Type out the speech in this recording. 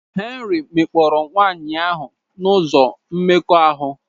Henry mekpọrọ nwanyị ahụ n'ụzọ mmekọahụ.